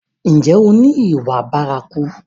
Ǹjẹ́ o ni ìwà bárakú?